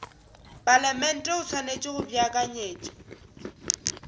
palamente o swanetše go beakanyetša